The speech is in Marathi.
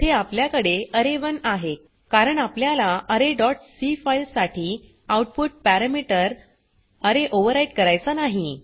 येथे आपल्याकडे अरे1 आहे कारण आपल्याला अरे डॉट सी फाइल साठी आउटपुट पॅरमीटर अरे ओवरराइट करायचा नाही